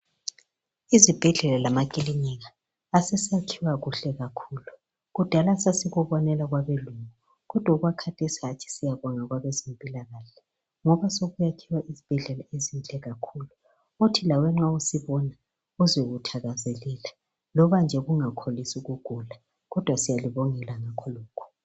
Izibhedlela lamaKilinika aseyakhiwa kuhle kakhulu kudala sasikubonela kwabelungu kodwa okwakhathesi hatshi siyababonga kwabezempilakahle ngoba sokwakhiwa izibhedlela ezinhle kakhulu othi lawe nxa usibona uzwe uthakazelela loba nje ungakholisi ukugula kodwa siyalibongela ngakhonokhu